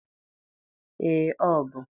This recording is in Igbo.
Ee, ọ bụ.